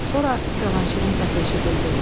Sonra Cavanşirin səsi eşidildi.